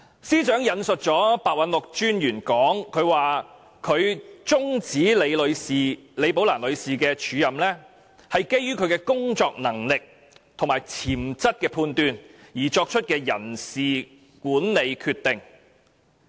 司長引述廉政專員白韞六的說法，指出終止李寶蘭女士的署任安排，是基於對其工作能力及潛質的判斷而作出的人事管理決定。